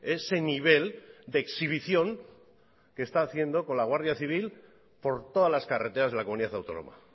ese nivel de exhibición que está haciendo con la guardia civil por todas las carreteras de la comunidad autónoma